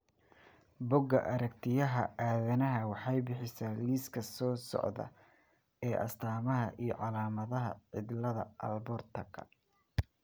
Buugga Aragtiyaha Aadanaha waxay bixisaa liiska soo socda ee astamaha iyo calaamadaha cilada Alportka.